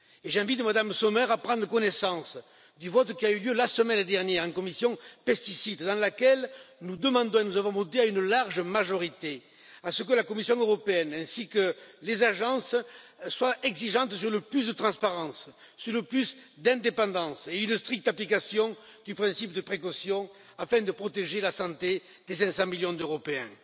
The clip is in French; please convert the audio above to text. J'invite Mme Sommer à prendre connaissance du vote qui a eu lieu la semaine dernière en commission pesticides, où nous demandons et nous avons voté à une large majorité que la Commission européenne ainsi que les agences soient exigeantes sur le plus de transparence, sur le plus d'indépendance et une stricte application du principe de précaution, afin de protéger la santé des 500 millions d'Européens.